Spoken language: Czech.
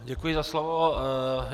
Děkuji za slovo.